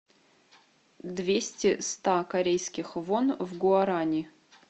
двести ста корейских вон в гуарани